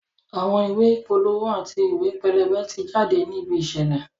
Àwọn ìwé ìpolówó àti ìwé pẹlẹbẹ ti jáde ní ibi ìṣẹ̀lẹ̀